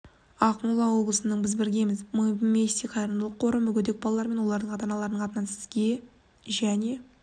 ақмола облысының біз біргеміз мы вместе қайырымдылық қоры мүгедек балалар мен олардың ата-аналарының атынан сізге және